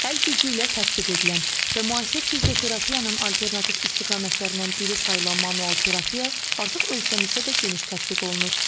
Əl gücü ilə tətbiq edilən və müasir fizioterapiyanın alternativ istiqamətlərindən biri sayılan manual terapiya artıq ölkəmizdə də geniş tətbiq olunur.